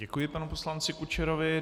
Děkuji panu poslanci Kučerovi.